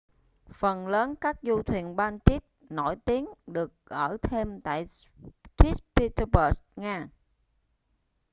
phần lớn các du thuyền baltic nổi tiếng được ở thêm tại st petersburg nga